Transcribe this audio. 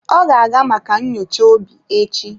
Ọ ga-aga maka nyocha obi echi.